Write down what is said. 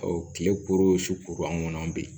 kile kuru o su kuru an ŋɔnɔ an be yen